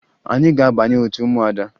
Anyị ga-abanye otu ụmụada